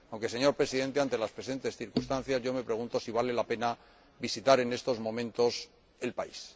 Señor Presidente, ante las presentes circunstancias, me pregunto si vale la pena visitar en estos momentos el país.